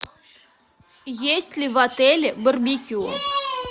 есть ли в отеле барбекю